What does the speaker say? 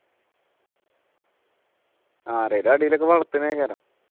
ആരേലും അടിയിലൊക്കെ വളർത്തുന്നത